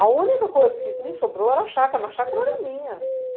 A única coisa que me sobrou era a chácara, mas a chácara era minha.